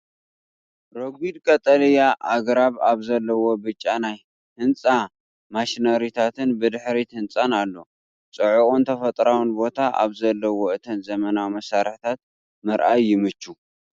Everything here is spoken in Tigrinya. ረጒድ ቀጠልያ ኣግራብ ኣብ ዘለውዎ ብጫ ናይ ህንጻ ማሽነሪታትን ብድሕሪት ህንጻን ኣሎ። ጽዑቕን ተፈጥሮኣዊን ቦታ ኣብ ዘለዎ እተን ዘመናዊ መሳርሕታት ምርኣይ ይምቹ፡፡!